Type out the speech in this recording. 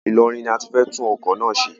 Ilorin ni a ti fẹ́ tún ọkọ̀ náà ṣe.